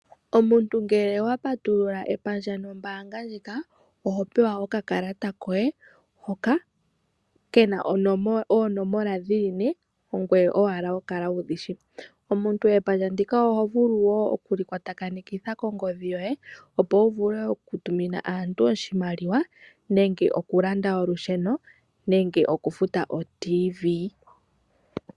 Omuntu ngele owa patulula epandja nombaanga ndjika oho pewa okakalata koye hoka kena oonomola dhili ne, ongoye owala ho kala wudhi shi. Omuntu epandja ndika oho vulu wo okku li kwatakanekitha kongodhi yoye, opo wu vule oku tumina aantu oshimaliwa nenge oku landa olusheno nenge oku futa otv.